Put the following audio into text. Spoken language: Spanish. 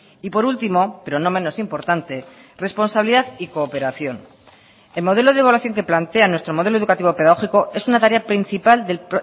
y por último pero no menos importante responsabilidad y cooperación el modelo de evaluación que plantea nuestro modelo educativo pedagógico es una tarea principal del